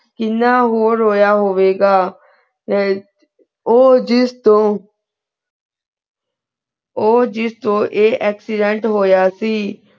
ਕਿੰਨਾ ਊਹੋ ਰੋਯਾ ਹੋਵੇ ਗਾ ਅਮ ਊ ਜਿਸ ਤੋ ਊ ਜਿਸ ਤੋ ਆਯ accident ਹੋਯਾ ਸੀ